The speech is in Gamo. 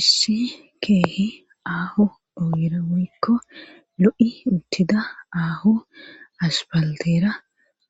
issi keehi aaho ogira woykko lo'i uttida aaho aspalteera